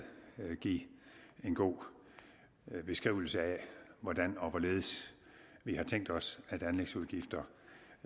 give en god beskrivelse af hvordan og hvorledes vi har tænkt os at anlægsudgifter